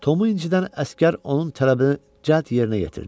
Tomu incidən əsgər onun tələbini cəld yerinə yetirdi.